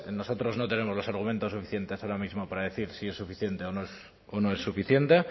nosotros no tenemos los argumentos suficientes ahora mismo para decir si es suficiente o no es suficiente